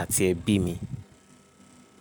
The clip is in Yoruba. àti ẹbí mi.